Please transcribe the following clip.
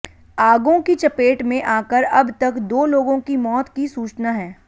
आगों की चपेट में आकर अब तक दो लोगों की मौत की सूचना है